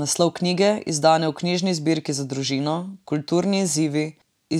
Naslov knjige, izdane v knjižni zbirki Za družino, Kulturni izzivi,